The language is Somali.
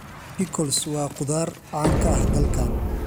Pickles waa khudaar caan ka ah dalkan.